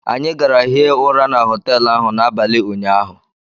Anyị gara hie ụra na họteelụ ahụ n'abalị ụnyaahụ